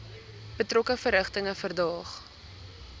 betrokke verrigtinge verdaag